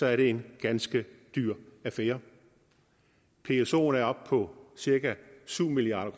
er det en ganske dyr affære psoen er oppe på cirka syv milliard